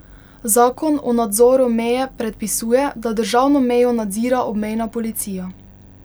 Zakon o nadzoru meje predpisuje, da državno mejo nadzira obmejna policija.